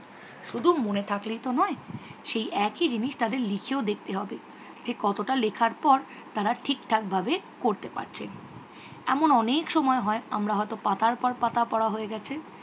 শুধু মনে থাকলেই তো নয় সেই একই জিনিস তাদের লিখেও দেখতে হবেজে কতটা লেখার পর তারা ঠিকঠাক ভাবে পড়তে পারছে। এমন অনেক সময় হয় আমাদের হয়ত পাতার পর পাতা পড়া হয়ে গেছে